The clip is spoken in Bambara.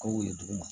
Ka weele duguma